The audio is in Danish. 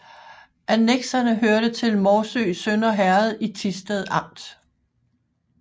Annekserne hørte til Morsø Sønder Herred i Thisted Amt